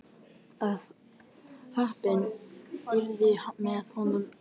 Ef heppnin yrði með honum myndi enginn taka eftir að svarið hafði farið of seint.